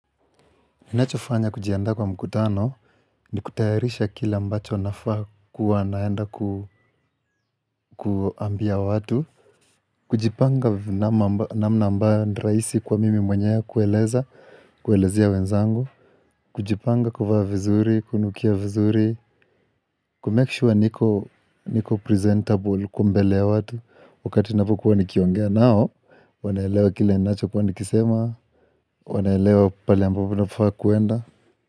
Ninachofanya kujianda kwa mkutano ni kutayarisha kila ambacho nafaa kuwa naenda kuambia watu kujipanga namna ambayo ni rahisi kwa mimi mwenyewe kueleza kuelezia wenzangu kujipanga kuvaa vizuri, kunukia vizuri kumake sure niko presentable kwa mbele ya watu wakati ninapokuwa nikiongea nao wanaelewa kila ninacho kuwa nikisema wanaelewa pale ambapo nafaa kuenda.